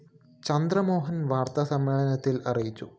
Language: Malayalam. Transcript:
ചന്ദ്രമോഹന്‍ വാര്‍ത്താ സമ്മേളനത്തില്‍ അറിയിച്ചു